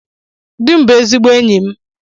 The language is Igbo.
Di m bụ ezigbo enyi m.